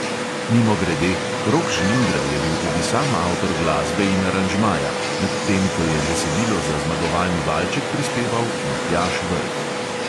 Mimogrede, rok žlindra je bil tudi sam avtor glasbe in aranžmaja, medtem ko je besedilo za zmagovalni valček prispeval matjaž vrh.